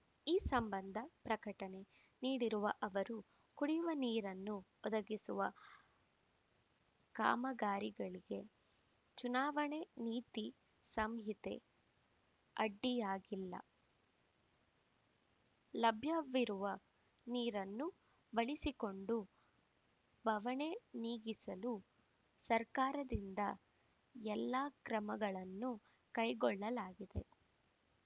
ಈ ಸಂಬಂಧ ಪ್ರಕಟಣೆ ನೀಡಿರುವ ಅವರು ಕುಡಿಯುವ ನೀರನ್ನು ಒದಗಿಸುವ ಕಾಮಗಾರಿಗಳಿಗೆ ಚುನಾವಣಾ ನೀತಿ ಸಂಹಿತೆ ಅಡ್ಡಿಯಾಗಿಲ್ಲ ಲಭ್ಯವಿರುವ ನೀರನ್ನು ಬಳಿಸಿಕೊಂಡು ಬವಣೆ ನೀಗಿಸಲು ಸರ್ಕಾರದಿಂದ ಎಲ್ಲ ಕ್ರಮಗಳನ್ನು ಕೈಗೊಳ್ಳಲಾಗಿದೆ